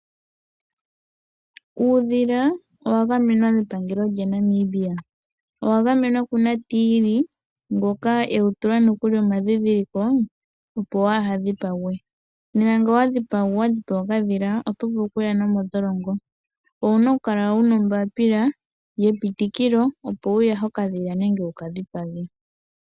Uudhila owa gamenwa mepangelo lya Namibia . Owagamenwa kunatiili ngoka ewu tula nokuli omandhindhiliko opo kawu dhipagwe. Nena ngele owa dhipaga okadhila otovulu okuya nomondholongo .Owuna okukala wuna ombaapila yeputikilo opo wu yahe okadhila nenge wukadhipage.